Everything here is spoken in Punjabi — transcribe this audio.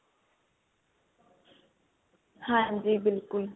ਹਾਂਜੀ ਬਿਲਕੁੱਲ